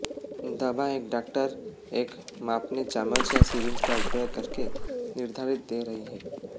दवा एक डॉक्टर एक मापने चम्मच या सिरिंज का उपयोग करके निर्धारित दे रही है